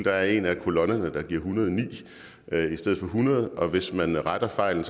er en af kolonnerne der giver en hundrede og ni i stedet for hundrede og hvis man retter fejlen